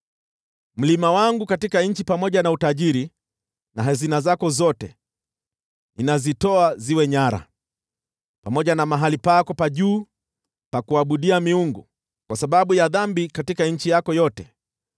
Mlima wangu katika nchi pamoja na utajiri na hazina zako zote nitazitoa ziwe nyara, pamoja na mahali pako pa juu pa kuabudia miungu kwa sababu ya dhambi katika nchi yako yote.